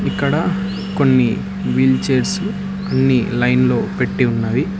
ఇక్కడ కొన్ని wheel chairs అన్ని లైన్లో పెట్టి ఉన్నవి.